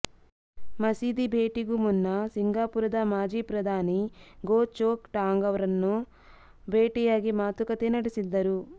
ಮಸೀದಿ ಭೇಟಿಗೂ ಮುನ್ನ ಸಿಂಗಾಪುರದ ಮಾಜಿ ಪ್ರಧಾನಿ ಗೋ ಚೋಕ್ ಟಾಂಗ್ ಅವ್ರನ್ನು ಭೇಟಿಯಾಗಿ ಮಾತುಕತೆ ನಡೆಸಿದ್ದರು